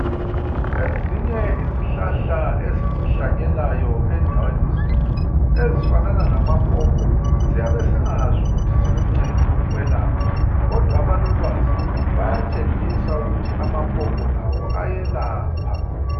Ezinye izihlahla esizihlanyelayo endaweni zethu ezifanana lamapopo siyabesingazi ukuthi ziluncedo ukwelapha kodwa abalolwazi bayatshengisa ukuthi amapopo lawo ayelapha.